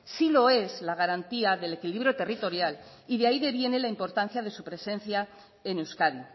sí lo es la garantía del equilibrio territorial y de ahí deviene la importancia de su presencia en euskadi